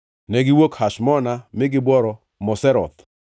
Negiwuok Hashmona mi gibworo Moseroth.